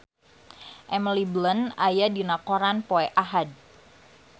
Emily Blunt aya dina koran poe Ahad